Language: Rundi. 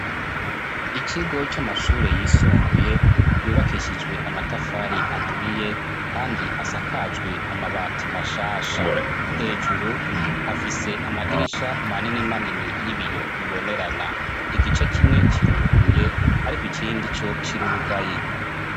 Ikigo c'amashure yisumbuye yubakishijwe amatafari aturiye, kandi asakajwe amabati mashasha. Hejuru afise amadirisha manini manini y'ibiyo bibonerana. Igice kimwe kiruguruye, ariko ikindi co kirugaye.